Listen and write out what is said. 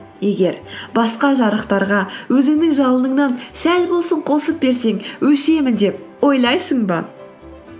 егер басқа жарықтарға өзіңнің жалыныңнан сәл болсын қосып берсең өшемін деп ойлайсың ба